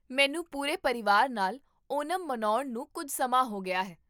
ਮੈਨੂੰ ਪੂਰੇ ਪਰਿਵਾਰ ਨਾਲ ਓਨਮ ਮਨਾਉਣ ਨੂੰ ਕੁੱਝ ਸਮਾਂ ਹੋ ਗਿਆ ਹੈ